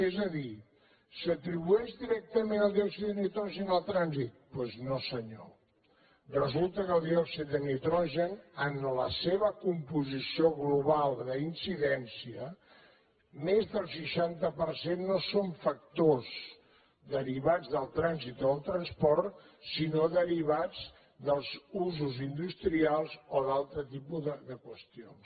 és a dir s’atribueix directament el diòxid de nitrogen al trànsit doncs no senyor resulta que el diòxid de nitrogen en la seva composició global d’incidència més del seixanta per cent no són factors derivats del trànsit o del transport sinó derivats dels usos industrials o d’altre tipus de qüestions